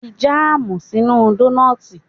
Fi jáàmù sínú dónọ́tì